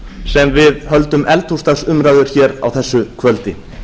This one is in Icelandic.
sem við höldum eldhúsdagsumræður hér á þessu kvöldi